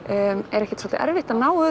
er ekkert erfitt að ná